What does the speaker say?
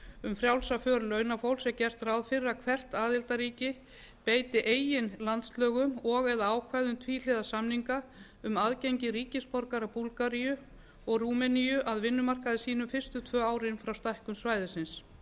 um frjálsa för launafólks er gert ráð fyrir að hvert aðildarríki beiti eigin landslögum og eða ákvæðum tvíhliða samninga um aðgengi ríkisborgara búlgaríu og rúmeníu að vinnumarkaði sínum fyrstu tvö árin frá stækkun svæðisins